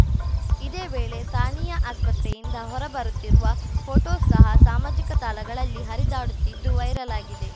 ಇದೇ ವೇಳೆ ಸಾನಿಯಾ ಆಸ್ಪತ್ರೆಯಿಂದ ಹೊರಬರುತ್ತಿರುವ ಫೋಟೋ ಸಹ ಸಾಮಾಜಿಕ ತಾಳಗಳಲ್ಲಿ ಹರಿದಾಡುತ್ತಿದ್ದು ವೈರಲ್‌ ಆಗಿದೆ